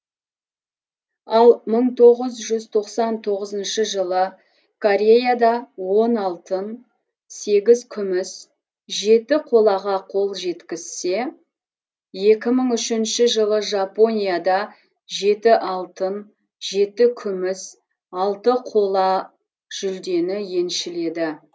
ал мың тоғыз жүз тоқсан тоғызыншы жылы кореяда он алтын сегіз күміс жеті қолаға қол жеткізсе екі мың үшінші жылы жапонияда жеті алтын жеті күміс алты қола жүлдені еншіледі